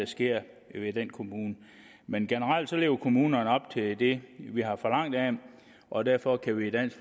sker i den kommune men generelt lever kommunerne op til det vi har forlangt af dem og derfor kan vi i dansk